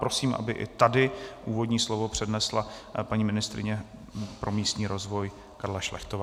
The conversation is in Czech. Prosím, aby i tady úvodní slovo přednesla paní ministryně pro místní rozvoj Karla Šlechtová.